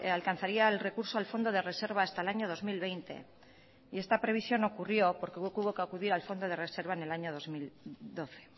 alcanzaría el recurso al fondo de reserva hasta el año dos mil veinte y esta previsión ocurrió porque hubo que acudir al fondo de reserva en el año dos mil doce